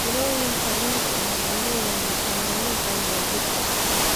Mirooyinka liinta waxay leeyihiin fitamiino badan oo jidhka ah.